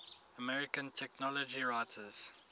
american technology writers